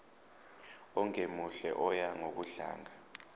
ongemuhle oya ngokudlanga